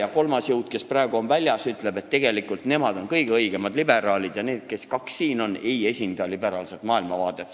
Aga kolmas jõud, kes praegu on Riigikogust väljas, võiks ka öelda, et tegelikult on nemad kõige õigemad liberaalid ja need kaks, kes siin on, ei esinda liberaalset maailmavaadet.